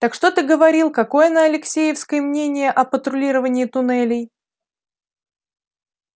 так что ты говорил какое на алексеевской мнение о патрулировании туннелей